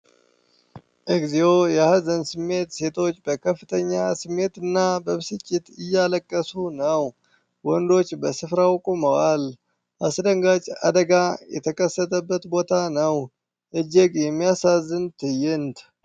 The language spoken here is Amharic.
እግዚኦ የሀዘን ስሜት ! ሴቶች በከፍተኛ ስሜትና በብስጭት እያለቀሱ ነው ። ወንዶች በስፍራው ቆመዋል ። አስደንጋጭ አደጋ የተከሰተበት ቦታ ነው። እጅግ የሚያሳዝን ትዕይንት !